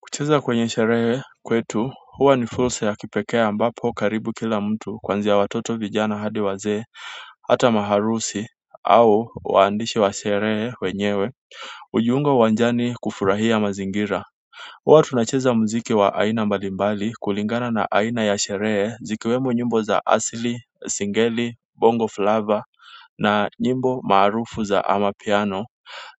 Kucheza kwenye sherehe kwetu huwa ni fursa ya kipekee ambapo karibu kila mtu kwanzi ya watoto vijana hadi wazee hata maharusi au waandishi wa sherehe wenyewe hujiunga uwanjani kufurahia mazingira huwa tunacheza muziki wa aina mbalimbali kulingana na aina ya sherehe zikiwemo nyimbo za asili singeli bongo flavor na nyimbo maarufu za amapiano